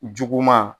Juguman